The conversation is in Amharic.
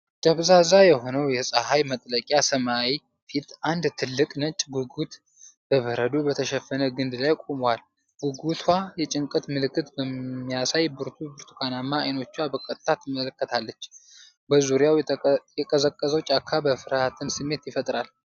ደብዛዛ በሆነው የፀሐይ መጥለቂያ ሰማይ ፊት፣ አንድ ትልቅ ነጭ ጉጉት በበረዶ በተሸፈነ ግንድ ላይ ቆሟል። ጉጉቷ የጭንቀት ምልክት በሚያሳይ ብርቱ ብርቱካናማ ዓይኖቿ በቀጥታ ትመለከታለች። በዙሪያው የቀዘቀዘው ጫካ የፍርሃትን ስሜት ይፈጥራል።